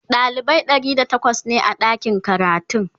dalibai ɗari da takwas ne a ɗakin karatun